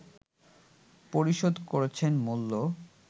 পরিশোধ করছেন মূল্য